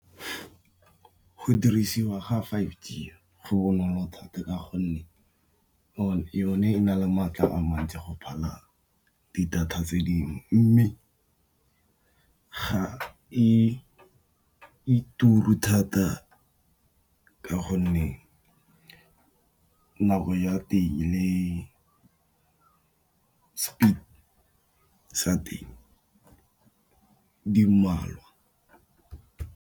Go dirisiwa ga five G go bonolo thata ka gonne yone e na le maatla a mantsi go phala di data tse dingwe, mme ga e turu thata ka gonne nako ya teng le speed sa teng di mmalwa.